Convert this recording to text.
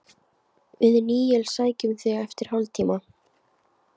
Við Níels sækjum þig eftir hálftíma.